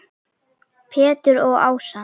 Pétur og Ása.